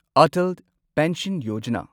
Atal pension Yojana